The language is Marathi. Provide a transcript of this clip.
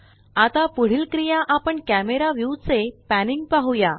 आता पुढील क्रिया आपण कॅमरा व्यूवचे पॅनिंग पाहुया